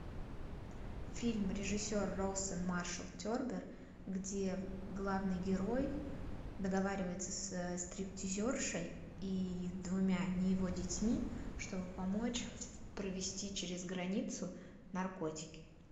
фильм режиссер роусон маршалл тербер где главный герой договаривается со стриптизершей и двумя не его детьми чтобы помочь провезти через границу наркотики